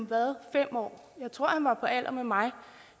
været fem år jeg tror han var på alder med mig og